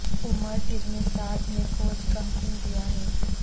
عمر ابن سعد نے کوچ کا حکم دیا ہے